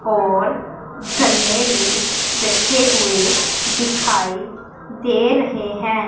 और गन्ने भी रखे हुए दिखाई दे रहे हैं।